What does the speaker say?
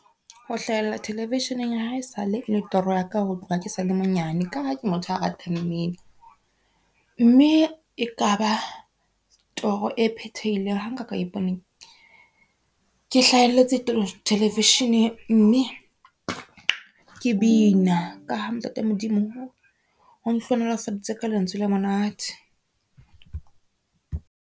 Ho hlahella television-eng hae sale e le toro ya ka ho tloha ke sale monyane ka ha ke motho a ratang mmino. Mme e ka ba toro e phethehileng ha nka ka ipona ke hlahelletse television-eng, mme ke bina ka ha ntate Modimo o nhlonolofaditse ka lentswe le monate.